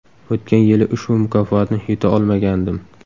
O‘tgan yili ushbu mukofotni yuta olmagandim.